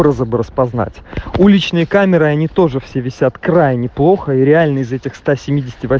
распознать уличные камеры они тоже все висят крайне плохо и реально из этих сто семь